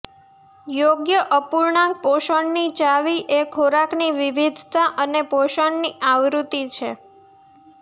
યોગ્ય અપૂર્ણાંક પોષણની ચાવી એ ખોરાકની વિવિધતા અને પોષણની આવૃત્તિ છે